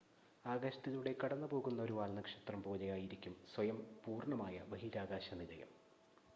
ആകാശത്തിലൂടെ കടന്നു പോകുന്ന ഒരു വാൽനക്ഷത്രം പോലെ ആയിരിക്കും സ്വയം പൂർണ്ണമായ ബഹിരാകാശ നിലയം